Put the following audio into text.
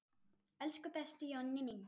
Elsku besti Jonni minn.